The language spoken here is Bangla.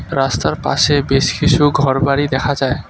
রাস্তার পাশে বেশ কিছু ঘরবাড়ি দেখা যায়।